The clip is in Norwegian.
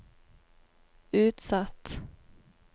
utsatt